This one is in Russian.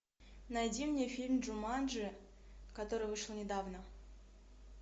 найди мне фильм джуманджи который вышел недавно